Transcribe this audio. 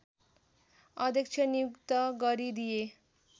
अध्यक्ष नियुक्त गरिदिए